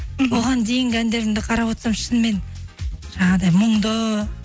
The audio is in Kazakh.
оған дейінгі әндерімді қарап отсам шынымен жаңағындай мұңды